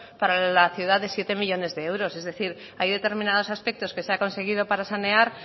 para la ciudad de siete millónes de euros es decir hay determinados aspectos que se ha conseguido para sanear